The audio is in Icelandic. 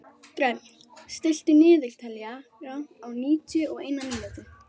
Dröfn, stilltu niðurteljara á níutíu og eina mínútur.